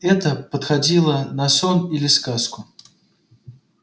это походило на сон или на сказку